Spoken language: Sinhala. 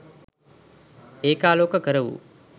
ඒකාලෝක කර වූ